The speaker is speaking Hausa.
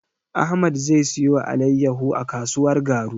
Ahmad zai siyo alaiyahu a kasuwar Garu.